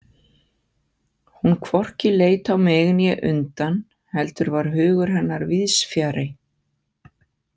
Hún hvorki leit á mig né undan, heldur var hugur hennar víðsfjarri.